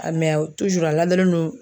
A mɛ tuzuru a ladalen don